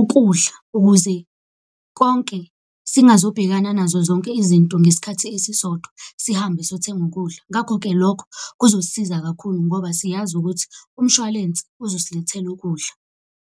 ukudla ukuze konke, singazobhekana nazo zonke izinto ngesikhathi esisodwa. Sihambe siyothenga ukudla. Ngakho-ke lokho kuzosiza kakhulu ngoba siyazi ukuthi umshwalense ezosilethela ukudla.